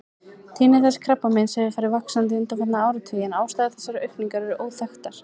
Tíðni þessa krabbameins hefur farið vaxandi undanfarna áratugi en ástæður þessarar aukningar eru óþekktar.